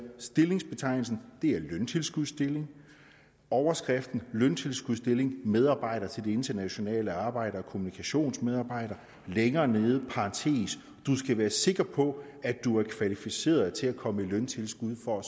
stillingsbetegnelsen er løntilskudsstilling overskriften løntilskudsstilling medarbejder til det internationale arbejde og kommunikationsarbejde længere nede parentes du skal være sikker på at du er kvalificeret til at komme i løntilskud for